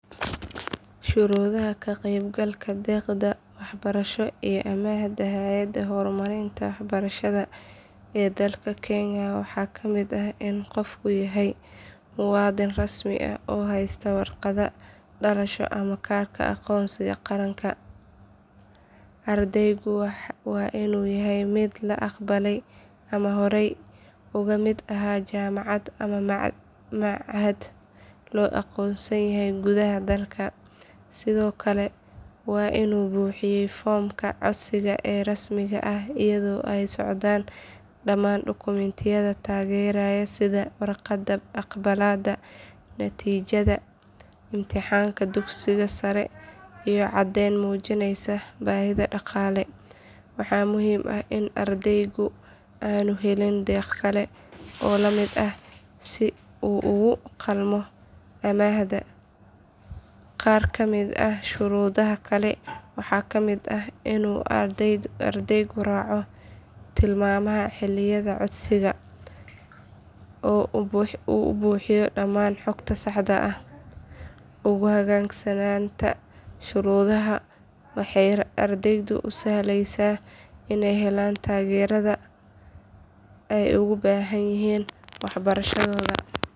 Shuruudaha ka qeybgalka deeqda waxbarasho iyo amaahda hay’adda horumarinta waxbarashada ee dalka kenya waxaa ka mid ah in qofku yahay muwaadin rasmi ah oo haysta warqadda dhalashada ama kaarka aqoonsiga qaranka. Ardaygu waa inuu yahay mid la aqbalay ama horey uga mid ahaa jaamacad ama machad la aqoonsan yahay gudaha dalka. Sidoo kale waa inuu buuxiyey foomka codsiga ee rasmiga ah iyadoo ay la socdaan dhammaan dukumiintiyada taageeraya sida warqadda aqbalaadda, natiijada imtixaanka dugsiga sare, iyo caddeyn muujinaysa baahida dhaqaale. Waxaa muhiim ah in ardaygu aanu helin deeq kale oo la mid ah si uu ugu qalmo amaahda. Qaar ka mid ah shuruudaha kale waxaa ka mid ah in ardaygu raaco tilmaamaha xilliyada codsiga oo uu buuxiyo dhammaan xogta saxda ah. U hoggaansanaanta shuruudahan waxay ardayda u sahlaysaa inay helaan taageerada ay ugu baahanyihiin waxbarashadooda.